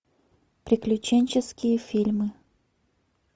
приключенческие фильмы